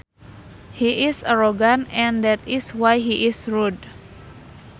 He is arrogant and that is why he is rude